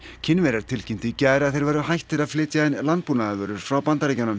Kínverjar tilkynntu í gær að þeir væru hættir að flytja inn landbúnaðarvörur frá Bandaríkjunum